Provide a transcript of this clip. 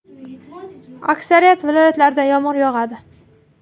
Aksariyat viloyatlarda yomg‘ir yog‘adi.